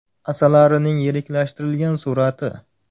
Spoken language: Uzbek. Asalarining yiriklashtirilgan surati.